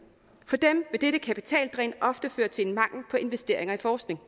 vil dette kapitaldræn ofte føre til en mangel på investeringer i forskning